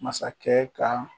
Masakɛ ka